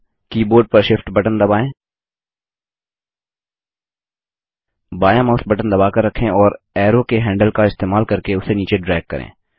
अब कीबोर्ड पर Shift button दबाएँ बायाँ माउस बटन दबाकर रखें और एरो के हैंडल का इस्तेमाल करके उसे नीचे ड्रैग करें